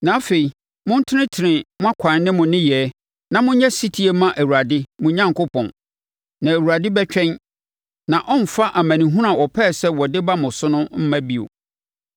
Na afei montenetene mo akwan ne mo nneyɛɛ, na monyɛ ɔsetie mma Awurade, mo Onyankopɔn. Na Awurade bɛtwɛn, na ɔremfa amanehunu a ɔpɛɛ sɛ ɔde ba mo so no mma bio.